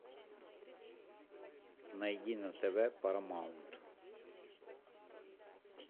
найди на тв парамаунт